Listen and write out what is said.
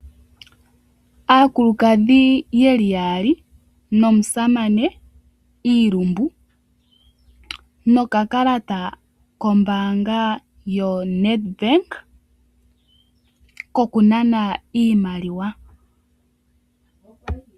Aakulukadhi yeli yaali nomusamane iilumbu, nokakalata kombanga yoNedbank koku nana iimaliwa.